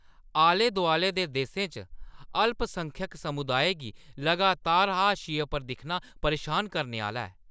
आले-दोआले दे देसें च अल्पसंख्यक समुदाएं गी लगातार हाशिये पर दिक्खना परेशान करने आह्‌ला ऐ।